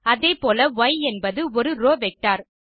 அதே போல ய் என்பது ஒரு ரோவ் வெக்டர்